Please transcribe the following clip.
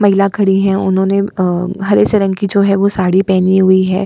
महिला खड़ी है उन्होंने हरे से रंग की जो है साड़ी पेहनी हुई है।